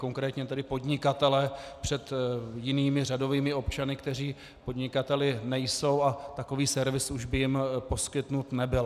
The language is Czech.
Konkrétně tedy podnikatele před jinými řadovými občany, kteří podnikateli nejsou, a takový servis už by jim poskytnut nebyl.